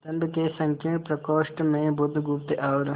स्तंभ के संकीर्ण प्रकोष्ठ में बुधगुप्त और